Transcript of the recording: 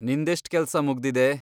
ನಿಂದೆಷ್ಟ್ ಕೆಲ್ಸ ಮುಗ್ದಿದೆ?